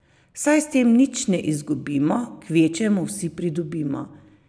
Saj s tem nič ne izgubimo, kvečjemu vsi pridobimo.